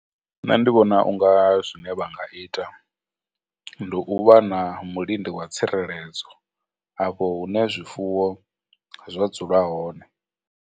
Nṋe ndi vhona u nga zwine vha nga ita ndi u vha na milindi wa tsireledzo afho hune zwifuwo zwa dzula hone.